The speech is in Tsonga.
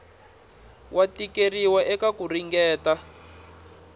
wa tikeriwa eka ku ringeta